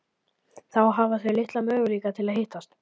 Þá hafa þau litla möguleika til að hittast.